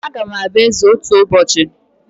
Agam abụ eze otu ụbọchị